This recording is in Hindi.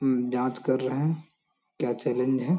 अम जाँच कर रहे हैं क्या चैलेंज है।